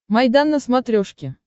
майдан на смотрешке